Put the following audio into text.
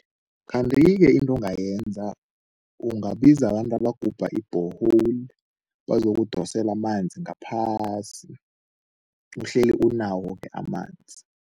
Kanti-ke into ongayenza, ungabiza abantu abagubha i-borehole bazokudosela amanzi ngaphasi, uhleli unawo-ke amanzi.